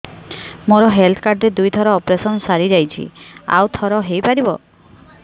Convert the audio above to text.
ମୋର health card ରେ ଦୁଇ ଥର ଅପେରସନ ସାରି ଯାଇଛି ଆଉ ଥର ହେଇପାରିବ